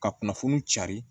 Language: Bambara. Ka kunnafoni cari